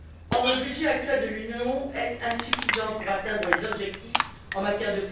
Or, le budget actuel de l'Union est insuffisant pour atteindre les objectifs en la matière.